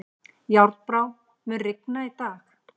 Járnbrá, mun rigna í dag?